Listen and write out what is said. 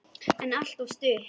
En alltof stutt.